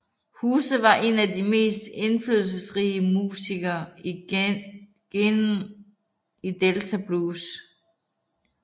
House var en af de mest indflydelsrige musikere i genren delta blues